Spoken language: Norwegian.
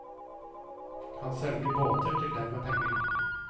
Han selger båter til dem med penger.